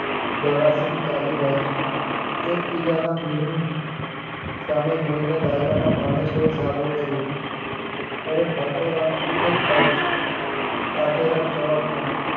દ્વારા આશ્રમ ચાલી જાય છે એક બીજાના મોં સામે જોઈને ડાયરાના માણસે કાદવ કર્યો અરે ઠાકોર આમ કેટલેક જવું છે આધોરક જવાબ મળ્યો